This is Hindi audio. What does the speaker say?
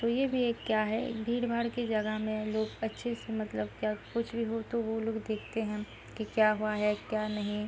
ये भी एक क्या है भीड़-भाड़ की जगह में लोग अच्छे से मतलब क्या कुछ भी हो तो वो लोग देखते हैं कि क्या हुआ है क्या नही।